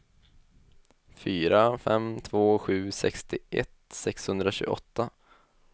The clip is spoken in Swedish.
fyra fem två sju sextioett sexhundratjugoåtta